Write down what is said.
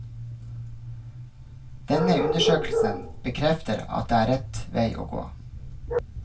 Denne undersøkelsen bekrefter at det er rett vei å gå.